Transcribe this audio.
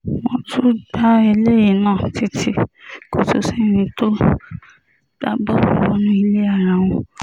wọ́n tún gba eléyìí náà títí kò tún sí ẹni tó gbá bọ́ọ̀lù wọnú ilé ara wọn